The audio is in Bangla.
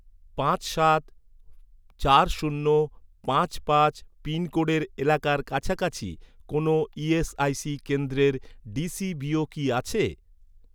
পাঁচ সাত চার শূন্য পাঁচ পাঁচ পিনকোডের এলাকার কাছাকাছি কোনও ইএসআইসি কেন্দ্রের ডিসিবিও কি আছে?